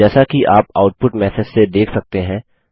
जैसा कि आप आउटपुट मैसेज से देख सकते हैं